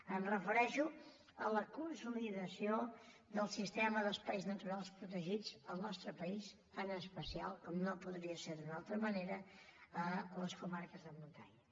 em refereixo a la consolidació del sistema d’espais naturals protegits al nostre país en especial com no podria ser d’una altra manera a les comarques de muntanya